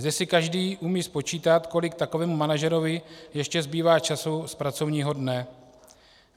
Zde si každý umí spočítat, kolik takovému manažerovi ještě zbývá času z pracovního dne.